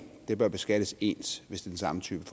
bør beskattes ens hvis det er samme type